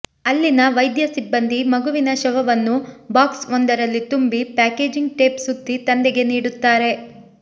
ಅಲ್ಲಿನ ವೈದ್ಯ ಸಿಬ್ಬಂದಿ ಮಗುವಿನ ಶವವನ್ನು ಬಾಕ್ಸ್ ಒಂದರಲ್ಲಿ ತುಂಬಿ ಪ್ಯಾಕೆಜಿಂಗ್ ಟೇಪ್ ಸುತ್ತಿ ತಂದೆಗೆ ನೀಡುತ್ತಾರೆ